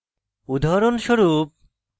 উদাহরণস্বরূপ